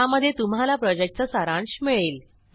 ज्यामध्ये तुम्हाला प्रॉजेक्टचा सारांश मिळेल